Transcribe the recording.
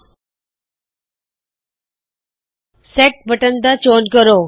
set set button ਦਾ ਚੋਣ ਕਰੋ